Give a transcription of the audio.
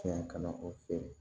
Tiɲɛ ka na o feere